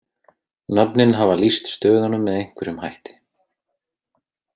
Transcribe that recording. Nöfnin hafa lýst stöðunum með einhverjum hætti.